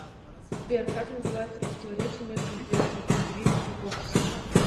сбер как называется противоречие между интересами индивида и общества